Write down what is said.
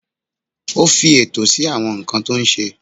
Ó fi ètò sí àwọn nǹkan tó ṣe.